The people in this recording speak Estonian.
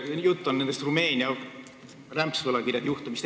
Jutt on Rumeenia rämpsvõlakirjade juhtumist.